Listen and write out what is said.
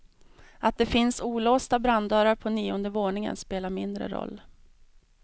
Att det finns olåsta branddörrar på nionde våningen spelar mindre roll.